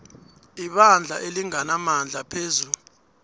ibandla elinganamandla phezu